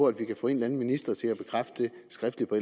at vi kan få en eller anden minister til at bekræfte det skriftligt på